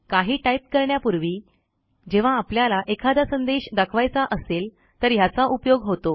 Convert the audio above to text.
काही टाईप करण्यापूर्वी जेव्हा आपल्याला एखादा संदेश दाखवायचा असेल तर ह्याचा उपयोग होतो